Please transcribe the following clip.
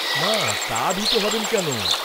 না, তা ভীত হবেন কেন?